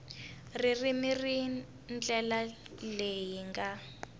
ririmi hi ndlela leyi nga